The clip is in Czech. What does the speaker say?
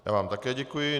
Já vám také děkuji.